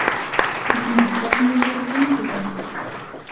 Una: Hvernig hefur þetta gengið hjá ykkur í dag?